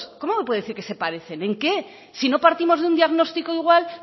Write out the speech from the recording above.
cómo puede decir que se parecen en qué si no partimos de un diagnóstico igual